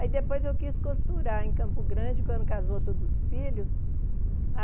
Aí depois eu quis costurar em Campo Grande, quando casou todos os filhos. A